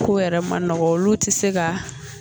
Ko yɛrɛ ma nɔgɔ olu ti se ka